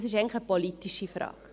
Es ist eine politische Frage.